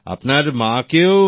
আপনার মাকেও